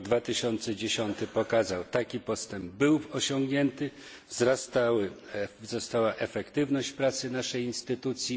Rok 2010 pokazał taki postęp był osiągnięty, wzrastała efektywność pracy naszej instytucji.